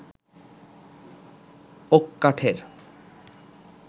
okay কাঠের